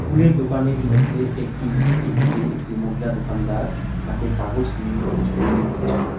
কুলের দোকানের মধ্যে একটি একটিতে একটি মহিলা দোকানদার হাতে কাগজ নিয়ে কিছু তৈরি করছেন।